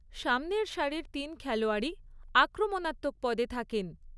সামনের সারির তিন খেলোয়াড়ই আক্রমণাত্মক পদে থাকেন।